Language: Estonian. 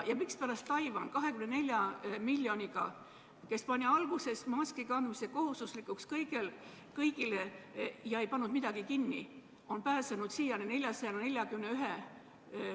Ja mispärast on 24 miljoni elanikuga Taiwan, kus tehti maski kandmine kohe alguses kohustuslikuks kõigile ja ei pandud midagi kinni, siiani pääsenud 441 nakatunuga?